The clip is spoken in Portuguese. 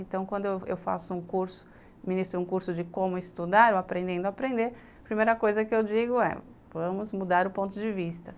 Então, quando eu faço um curso, ministro um curso de como estudar ou aprendendo a aprender, a primeira coisa que eu digo é vamos mudar o ponto de vista.